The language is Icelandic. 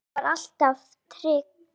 Amma var alltaf trygg.